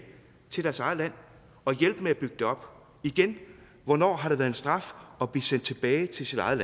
til deres eget land og hjælpe med at bygge det op igen hvornår har det været en straf at blive sendt tilbage til sit eget